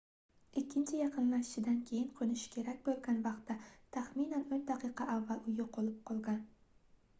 ikkinchi yaqinlashishidan keyin qoʻnishi kerak boʻlgan vaqtdan taxminan oʻn daqiqa avval u yoʻqolib qolgan